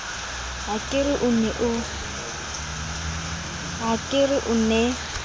ha ke re o ne